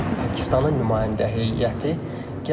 Artıq Pakistanın nümayəndə heyəti gəlir.